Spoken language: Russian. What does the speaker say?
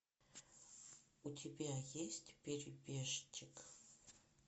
у тебя есть перебежчик